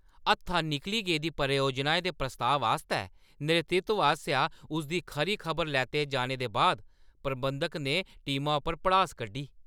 हत्था निकली गेदी परियोजना दे प्रस्ताव आस्तै नेतृत्व आसेआ उसदी खरी खबर लैते जाने दे बाद प्रबंधक ने टीमा उप्पर भड़ास कड्ढी।